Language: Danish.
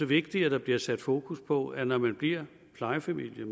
vigtigt at der bliver sat fokus på at når man bliver plejefamilie